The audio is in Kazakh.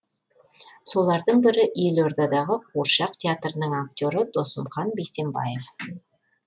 солардың бірі елордадағы қуыршақ театрының актері досымхан бейсенбаев